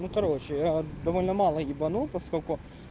ну короче я довольно мало ебанутость только